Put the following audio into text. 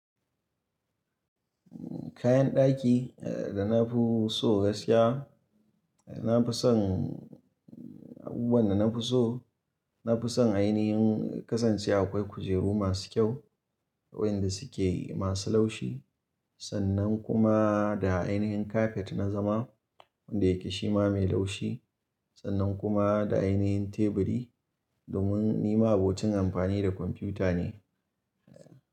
Kayan daki da na fi so gaskiya, na fi son, abubuwan da na fi so, na fi son ainihin kasance akwai kujeru masu kyau wadanda suke masu laushi sannan kuma da ainihin kafet na zama wanda yake shima mai laushi sannan kuma da ainihin teburi domin ni ma'abocin amfani da kwamfuta ne.